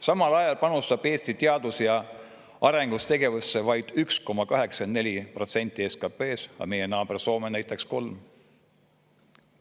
Samal ajal panustab Eesti teadus- ja arendustegevusse vaid 1,84% SKP-st, aga meie naaber Soome näiteks 3%.